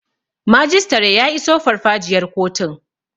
Majistare ya iso farfajiyar kotun